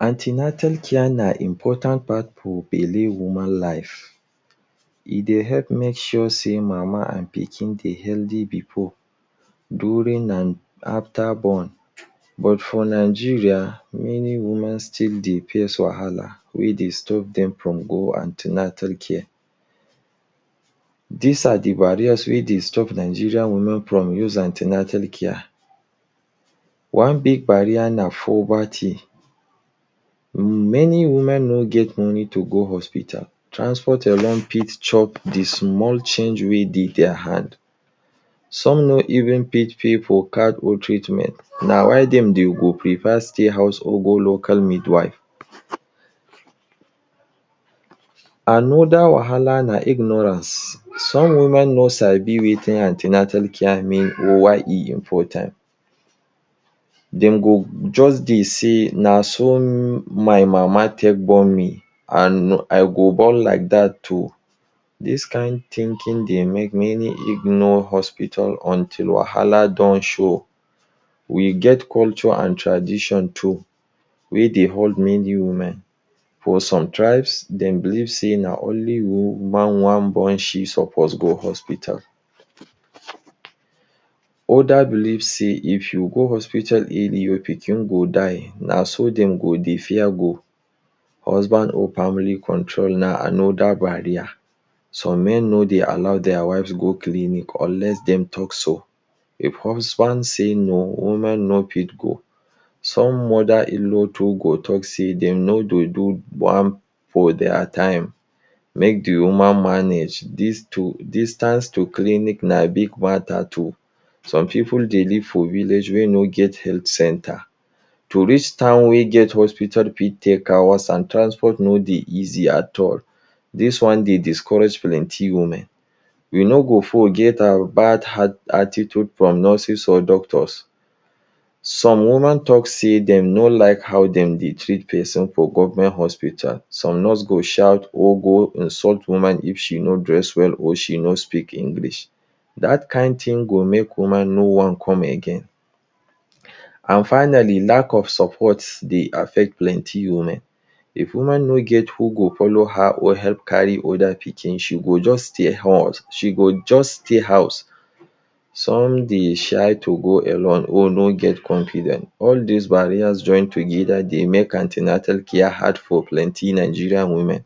An ten atal care na important part for belle woman life. E dey help make sure say mama and pikin dey healthy before, during, and after born. But for Nigeria, many women still dey face wahala wey dey stop dem from go an ten atal care. These na the barriers wey dey stop Nigerian women from use an ten atal care: One big barrier na poverty. Many women no get enough money to go hospital. Transport alone fit chop the small change wey dey their hand. Some no even fit pay for card or treatment. Na why dem go prefer stay house or go local midwife. Another wahala na ignorance. Some women no sabi wetin an ten atal care mean or why e important. Dem go just dey say, “Na how my mama born me, I go born like dat.” Dis kind thinking dey make many ignore hospital until wahala don show. Culture and tradition too dey hold many women. For some tribe, dem believe say na when mama wan born na then she suppose go hospital. Others believe say if you go hospital early, your pikin go die. Naso dem go dey fear go. Husband or family control na another barrier. Some men no dey allow their wives go clinic unless dem talk so. If husband say no, woman no fit go. Some mother-in-law fit talk say dem no do one for their time, make the woman manage. Distance to clinic na big matter too. Some pipu dey live for village wey no get health center. To reach town wey get hospital fit take hours, and transport no dey easy at all. Dis one dey discourage plenty women. We no go forget the bad attitude from some nurses or doctors. Some women talk say dem no like how dem dey treat person for government hospital. Some nurse go dey shout if woman no dress well or she no speak English. That kind thing go make woman no wan come again. Finally, lack of support dey affect many women. If woman no get who go follow her or help carry other pikin, she go just stay house. Some dey shy to go alone or no get confidence. All these barriers dey make an ten atal care hard for women.